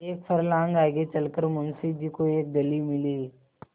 एक फर्लांग आगे चल कर मुंशी जी को एक गली मिली